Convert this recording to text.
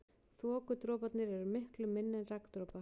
Þokudroparnir eru miklu minni en regndropar.